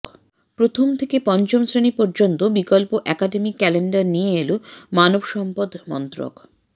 প্রথম থেকে পঞ্চম শ্রেণী পর্যন্ত বিকল্প অ্যাকাডেমিক ক্যালেন্ডার নিয়ে এল মানব সম্পদ মন্ত্রক